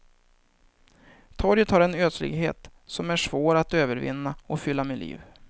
Torget har en ödslighet som är svår att övervinna och fylla med liv.